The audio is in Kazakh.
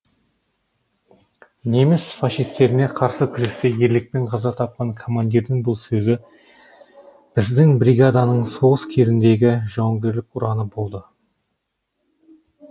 неміс фашистеріне қарсы күресте ерлікпен қаза тапқан командирдің бұл сөзі біздің бригаданың соғыс кезіндегі жауынгерлік ұраны болды